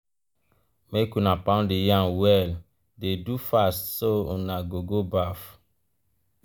make una pound the yam well dey do fast so una go go baff.